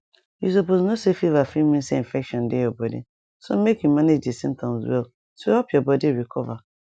you suppose know say fever fit mean say infection dey your body so make make you manage di symptoms well to help your body recover